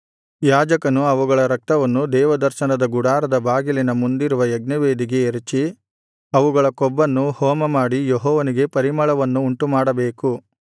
ಯಾಜಕನು ಅವುಗಳ ರಕ್ತವನ್ನು ದೇವದರ್ಶನದ ಗುಡಾರದ ಬಾಗಿಲಿನ ಮುಂದಿರುವ ಯಜ್ಞವೇದಿಗೆ ಎರಚಿ ಅವುಗಳ ಕೊಬ್ಬನ್ನು ಹೋಮಮಾಡಿ ಯೆಹೋವನಿಗೆ ಪರಿಮಳವನ್ನು ಉಂಟುಮಾಡಬೇಕು